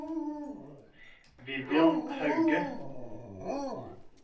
Vivian Hauge